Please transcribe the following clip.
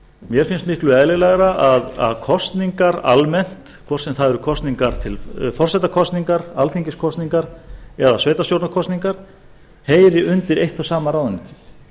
mér finnst miklu eðlilegra að kosningar almennt hvort sem það eru forsetakosningar alþingiskosningar eða sveitarstjórnarkosningar heyri undir eitt og sama ráðuneytið